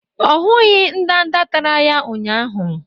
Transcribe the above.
Ọ hụghị ndanda tara ya ụnyahụ